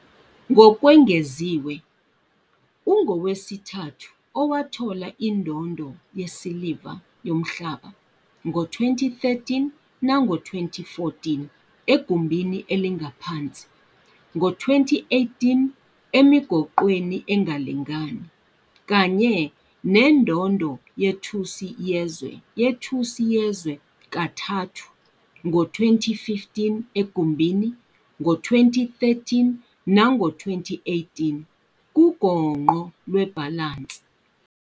Ngokwengeziwe, ungowesithathu owathola indondo yesiliva Yomhlaba, ngo-2013 nango-2014 egumbini elingaphansi, ngo-2018 emigoqweni engalingani, kanye nendondo yethusi yezwe yethusi yezwe kathathu, ngo-2015 egumbini, ngo-2013 nango-2018 kugongqo lwebhalansi.